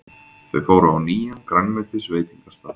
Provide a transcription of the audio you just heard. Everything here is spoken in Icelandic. Þau fóru á nýjan grænmetisveitingastað.